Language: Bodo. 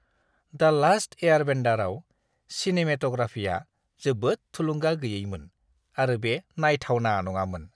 "दा लास्ट एयारबेन्डार"आव सिनेमेट'ग्राफीया जोबोद थुलुंगा गैयैमोन आरो बे नायथावना नङामोन!